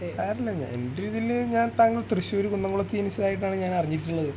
സാരില്ല എൻ്റെ ഒരു ഇതില് ഞാൻ താങ്കൾ തൃശ്ശൂരു കുന്നുംകുളത്തു ജനിച്ചതായിട്ടാണ് ഞാൻ അറിഞ്ഞിട്ടുള്ളത്